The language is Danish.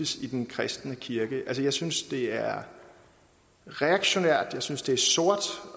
i den kristne kirke jeg synes det er reaktionært jeg synes det er sort